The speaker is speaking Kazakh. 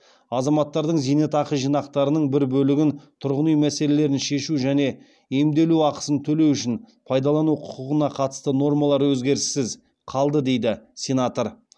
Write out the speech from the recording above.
азаматтардың зейнетақы жинақтарының бір бөлігін тұрғын үй мәселелерін шешу және емделу ақысын төлеу үшін пайдалану құқығына қатысты нормалар өзгеріссіз қалды дейді сенатор